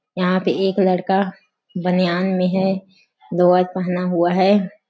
यहाँ पे एक लड़का बनियान में है लोवर पहना हुआ हैं।